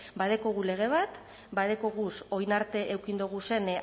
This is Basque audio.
badaukagu lege bat badaukaguz orain arte eduki doguzen